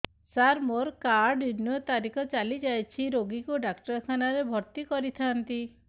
ସାର ମୋର card renew ତାରିଖ ଚାଲି ଯାଇଛି ରୋଗୀକୁ ଡାକ୍ତରଖାନା ରେ ଭର୍ତି କରିଥାନ୍ତି